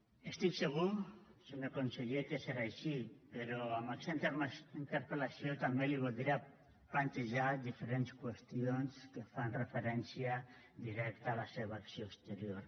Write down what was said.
estic segur senyor conseller que serà així però amb aquesta interpel·lació també li voldria plantejar diferents qüestions que fan referència directa a la seva acció exterior